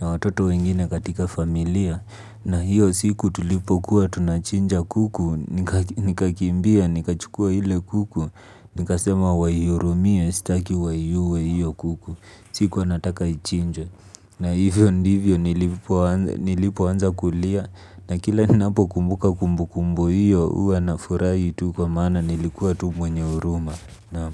Na watoto wengine katika familia na hiyo siku tulipokuwa tunachinja kuku nikakimbia nikachukua ile kuku nikasema waihurumie sitaki waiue hiyo kuku. Sikuwa nataka ichinjwe. Na hivyo ndivyo nilipoanza kulia na kila ninapokumbuka kumbu kumbu hiyo, huwa nafurahi tu kwa mana nilikuwa tu mwenye huruma. Naam.